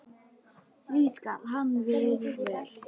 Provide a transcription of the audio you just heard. því skal hann virður vel.